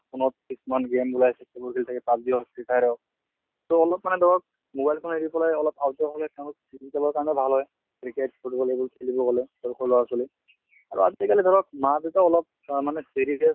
phone ত কিছুমান game ওলায় সেইবোৰ খেলি থাকে PUBG হওঁক, free fire হওঁক so অলপ মানে ধৰক mobile phone এৰি পেলাই অলপ outdoor হʼলে তেওঁলোক physical ৰ কাৰণেও ভাল হয়। cricket football এইবোৰ খালিব গʼলে সৰু সৰু লʼৰা ছোৱালী আৰু আজি কালি ধৰক মা দেইতাও অলপ চা মানে serious